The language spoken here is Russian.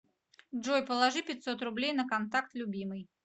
джой положи пятьсот рублей на контакт любимый